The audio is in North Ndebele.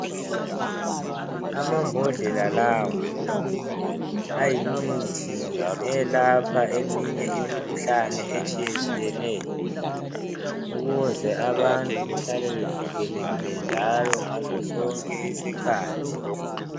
Amambodlela lawa ayimithi eyelapha eminye imikhuhlane etshiyetshiyeneyo ukuze abantu bahlale bevikelekile ngaso sonke isikhathi.